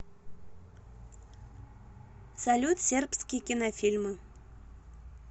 салют сербские кинофильмы